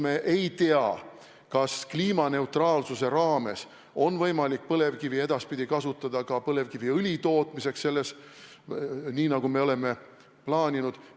Me ei tea praegu, kas kliimaneutraalsuse eesmärki silmas pidades on võimalik põlevkivi edaspidi kasutada ka põlevkiviõli tootmiseks, nagu me oleme plaaninud.